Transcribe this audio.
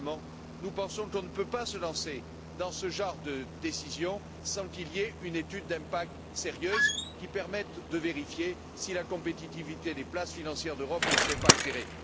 simplement nous pensons que nous ne pouvons pas nous lancer dans ce genre de décision sans qu'il y ait une étude d'impact sérieuse qui permette de vérifier si la compétitivité des places financières d'Europe ne serait pas altérée.